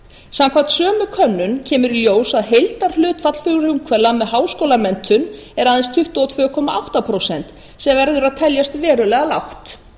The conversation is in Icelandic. samkvæmt sömu könnun kemur í ljós að heildarhlutfall frumkvöðla með háskólamenntun er aðeins tuttugu og tvö komma átta prósent sem verður að teljast verulega lágt